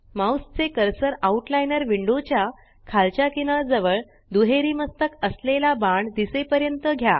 mouse चे cursor outliner window च्या खालच्या किनार जवळ दुहेरी मस्तक असलेला बाण दिसेपर्यंत घ्या